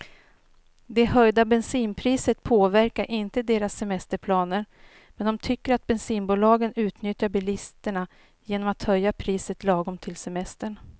Det höjda bensinpriset påverkar inte deras semesterplaner, men de tycker att bensinbolagen utnyttjar bilisterna genom att höja priset lagom till semestern.